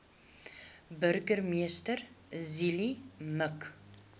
burgemeester zille mik